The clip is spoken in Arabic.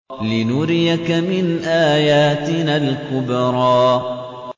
لِنُرِيَكَ مِنْ آيَاتِنَا الْكُبْرَى